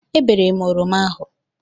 Ebere m oroma ahụ.